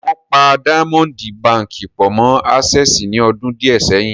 Wọ́n pa Díámọ́ǹdì baǹkì pọ̀ mọ́ Ásẹ́ẹ̀sì ní ọdún díẹ̀ sẹ́yìn.